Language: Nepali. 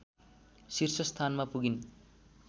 शीर्ष स्थानमा पुगिन्